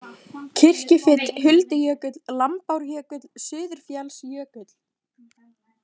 Kirkjufit, Huldujökull, Lambárjökull, Suðurfjallsjökull